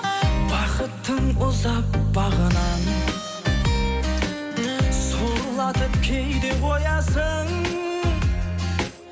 бақыттың ұзап бағынан сорлатып кейде қоясың